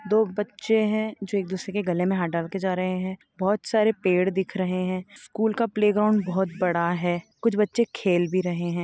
दो बच्चे है जो एक दुसरे के गले में हाथ डाल के जा रहे हैं बहुत सारे पेड़ दिख रहे हैं स्कुल का प्ले ग्राउंड बहुत बड़ा है कुछ बच्चे खेल भी रहे हैं।